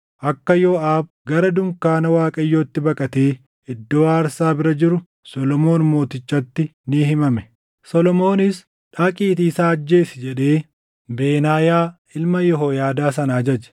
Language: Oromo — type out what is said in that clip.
Akka Yooʼaab gara dunkaana Waaqayyootti baqatee iddoo aarsaa bira jiru Solomoon Mootichatti ni himame. Solomoonis, “Dhaqiitii isa ajjeesi!” jedhee Benaayaa ilma Yehooyaadaa sana ajaje.